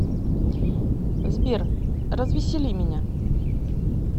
сбер развесели меня